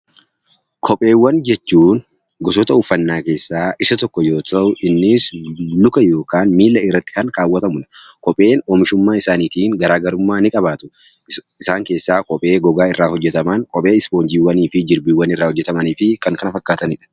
Kopheewwan jechuun gosoota uffannaa keessaa isa tokko yoo ta'u, innis luka yookaan miilla irratti kan kaawwatamu dha. Kopheen oomishummaa isaaniitiin garaa garummaa ni qabaatu. Isaan keessaa kophee Gogaa irraa hojjetaman, kophee Ispoonjiiwwan fi Jirbiiwwan irraa hojjetamanii fi kan kana fakkaatani dha.